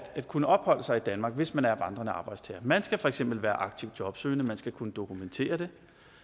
kunne opholde sig i danmark hvis man er vandrende arbejdstager man skal for eksempel være aktivt jobsøgende man skal kunne dokumentere det